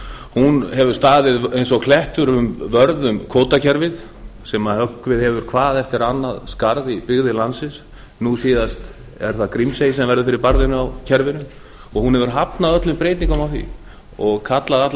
hún hefur staðið eins og klettur vörð um kvótakerfið sem höggvið hefur hvað eftir annað skarð í byggðir landsins nú síðast er það grímsey sem verður fyrir barðinu á kerfinu og hún hefur hafnað öllum breytingum á því og kallað allar